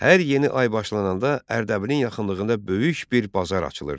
Hər yeni ay başlananda Ərdəbilin yaxınlığında böyük bir bazar açılırdı.